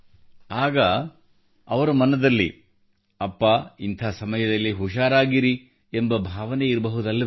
ಆಗ ಅವರ ಮನದಲ್ಲಿ ಅಪ್ಪಾ ಇಂಥ ಸಮಯದಲ್ಲಿ ಹುಷಾರಾಗಿರಿ ಎಂಬ ಭಾವನೆ ಇರಬಹುದಲ್ಲವೇ